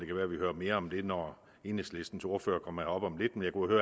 kan være vi hører mere om det når enhedslistens ordfører kommer herop om lidt